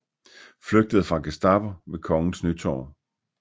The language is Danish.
Flygtede fra Gestapo ved Kongens Nytorv